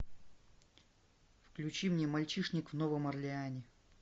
включи мне мальчишник в новом орлеане